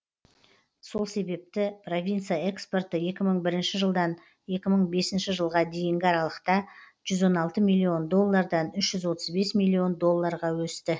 сол себепті провинция экспорты екі мың бірінші жылдан екі мың бесінші жылға дейінгі аралықта жүз он алты миллион доллардан үш жүз отыз бес миллион долларға өсті